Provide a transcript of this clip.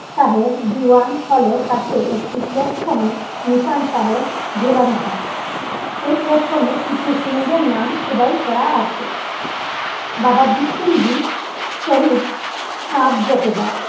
সাহেব দিওয়ান হলের্ কাছে একই প্লাটফর্মে নিশান সাহেব ঝুলানো হয় সেই প্লাটফ্রমে কিছু সিং দের নাম খোদায় করা আছে বাবা দ্বীপ সিং জী শহীদ হার জোঠেদার